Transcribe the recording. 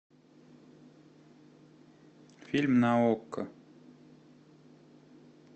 фильм на окко